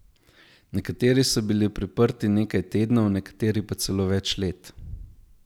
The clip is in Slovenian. Nekateri so bili priprti nekaj tednov, nekateri pa celo več let.